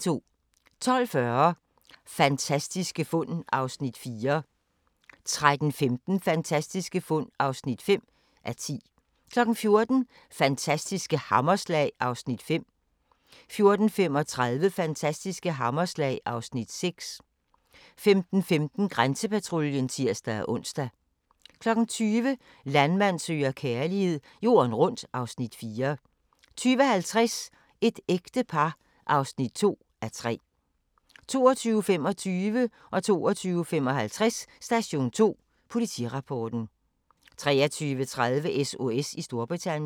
12:40: Fantastiske fund (4:10) 13:15: Fantastiske fund (5:10) 14:00: Fantastiske hammerslag (Afs. 5) 14:35: Fantastiske hammerslag (Afs. 6) 15:15: Grænsepatruljen (tir-ons) 20:00: Landmand søger kærlighed - jorden rundt (Afs. 4) 20:50: Et ægte par (2:3) 22:25: Station 2: Politirapporten 22:55: Station 2: Politirapporten 23:30: SOS i Storbritannien